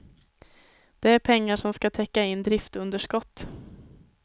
Det är pengar som ska täcka in driftunderskott.